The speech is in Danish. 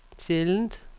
sjældent